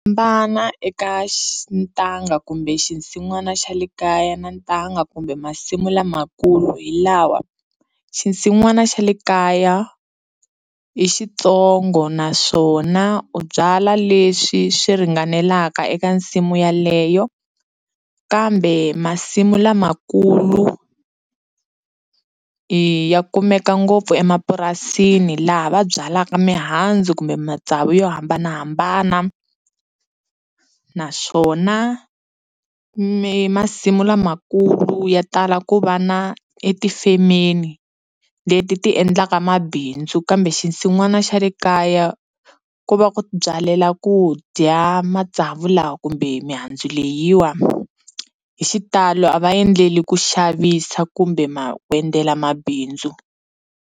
eka ntanga kumbe xinsin'wana xa le kaya na ntanga kumbe masimu lamakulu hi lawa, xinsin'wana xa le kaya i xintsongo naswona u byala leswi swi ringanelaka eka nsimu yeleyo kambe masimu lamakulu ya kumeka ngopfu emapurasini laha va byalaka mihandzu kumbe matsavu yo hambanahambana naswona mi masimu lamakulu ya tala ku va na etifemeni leti ti endlaka mabindzu kambe xin'wana xa le kaya ku va ku byalela ku dya matsavu laha kumbe mihandzu leyiwa hi xitalo a va endleli ku xavisa kumbe ma ku endlela mabindzu.